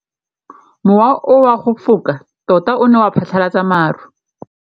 Mowa o wa go foka tota o ne wa phatlalatsa maru.